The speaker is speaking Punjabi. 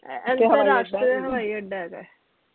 ਇਹ ਅੰਤਰ ਰਾਸ਼ਟਰੀ ਹਵਾਈ ਅੱਡਾ ਹੇਗਾ